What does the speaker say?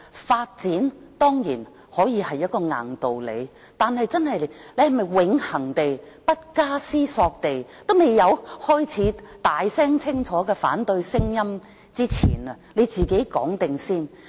發展當然可以是一個硬道理，但我們是否永恆地、不加思索地，未開始有大聲、清楚的反對聲音前就自己先這樣說？